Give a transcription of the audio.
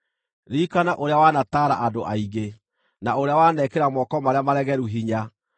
Ririkana ũrĩa wanataara andũ aingĩ, na ũrĩa wanekĩra moko marĩa maregeru hinya.